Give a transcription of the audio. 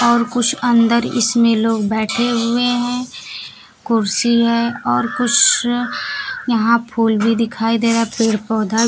और कुछ अंदर इसमें लोग बैठे हुए है कुर्सी है और कुछ यहां फूल भी दिखाई दे रहा पेड़ पौधा--